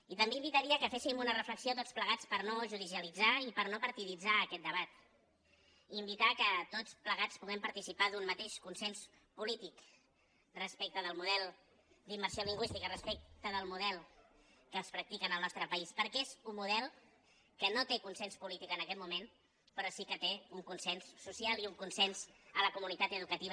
i també invitaria que féssim una reflexió tots plegats per no judicialitzar i per no partiditzar aquest debat invitar que tots plegats puguem participar d’un mateix consens polític respecte del model d’immersió lingüística respecte del model que es practica en el nostre país perquè és un model que no té consens polític en aquest moment però sí que té un consens social i un consens a la comunitat educativa